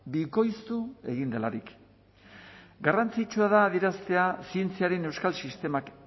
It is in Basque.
bikoiztu egin delarik garrantzitsua da adieraztea zientziaren euskal sistemak